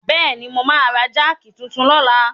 Bẹ́ẹ̀ni, mo máa ra jáàkì titun lọ́la.